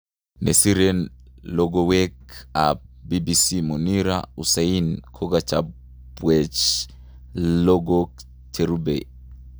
Nesiren logowek ap BBC Munira Hussain kokachaapwech logok cherupe